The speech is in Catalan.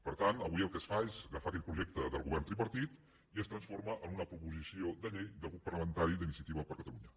per tant avui el que es fa és agafar aquell projecte del govern tripartit i es transforma en una proposició de llei del grup parlamentari d’inicia·tiva per catalunya